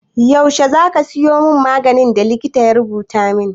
Yaushe za ka sayo min maganin da likita ya rubuta min?